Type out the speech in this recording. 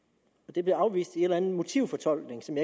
det blev afvist med en eller anden motivfortolkning som